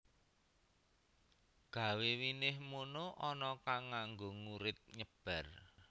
Gawe winih mono ana kang nganggo ngurit nyebar